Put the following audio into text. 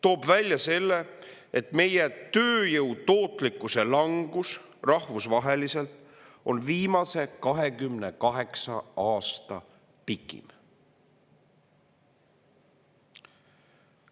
On välja toodud, et meie tööjõu tootlikkuse langus rahvusvaheliselt on viimase 28 aasta pikim.